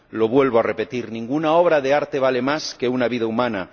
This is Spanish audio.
Lo vuelvo a repetir ninguna obra de arte vale más que una vida humana.